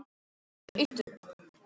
Hann lést árið eftir.